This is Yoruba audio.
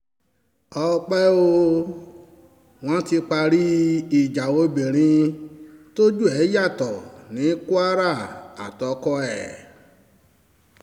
ọ̀pẹ̀ o wọ́n ti parí um ìjà obìnrin tójú ẹ̀ yàtọ̀ ní um kwara àtọkọ ẹ̀